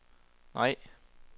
nej